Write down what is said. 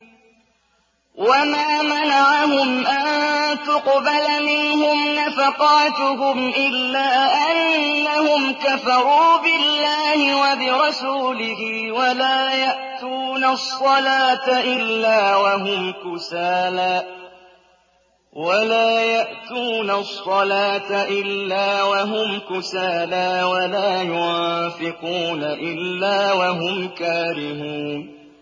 وَمَا مَنَعَهُمْ أَن تُقْبَلَ مِنْهُمْ نَفَقَاتُهُمْ إِلَّا أَنَّهُمْ كَفَرُوا بِاللَّهِ وَبِرَسُولِهِ وَلَا يَأْتُونَ الصَّلَاةَ إِلَّا وَهُمْ كُسَالَىٰ وَلَا يُنفِقُونَ إِلَّا وَهُمْ كَارِهُونَ